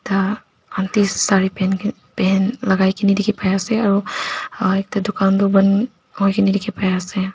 ekta aunty sare lakai kena dikhipaiase aro ekta dukan toh bon kurina dikhipaiase.